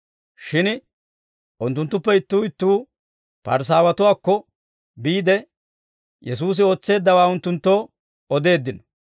Shin unttunttuppe ittuu ittuu Parisaawatuwaakko biide, Yesuusi ootseeddawaa unttunttoo odeeddino.